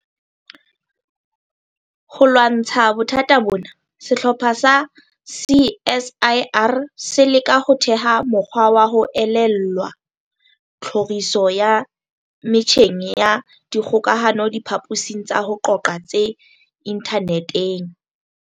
Ho lwantsha bothata bona, sehlopha sa CSIR se leka ho theha mokgwa wa ho elellwa tlhoriso ya metjheng ya kgokahanodiphaposing tsa ho qoqa tse inthaneteng.